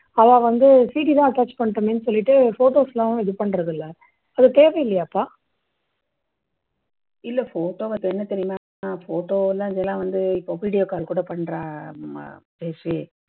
அவா வந்து cd தான் attach பண்றோமேன்னு சொல்லிட்டு photos லாம் இது பண்றதில்லை. அது தேவை இல்லையாப்பா?